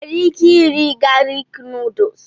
Ị nwere ike irì galik nuduls?